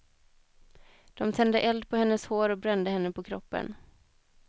De tände eld på hennes hår och brände henne på kroppen.